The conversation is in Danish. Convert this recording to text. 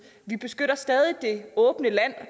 vi beskytter stadig det åbne land